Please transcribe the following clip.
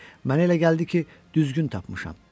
Mənə elə gəldi ki, düzgün tapmışam.